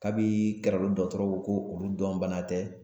Kabini Garalo dɔgɔtɔrɔw ko k'olu dɔn bana tɛ